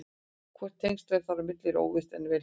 Hvort tengsl eru þar á milli er óvíst en vel hugsanlegt.